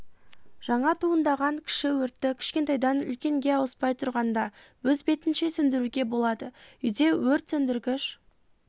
жаңа туындаған кіші өртті кішкентайдан үлкенге ауыспай тұрғанда өз бетінше сөндіруге болады үйде өрт сөндіргіш